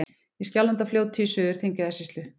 Í Skjálfandafljóti í Suður-Þingeyjarsýslu.